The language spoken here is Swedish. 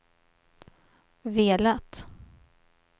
velat